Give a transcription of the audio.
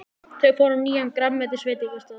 Þau fóru á nýjan grænmetisveitingastað.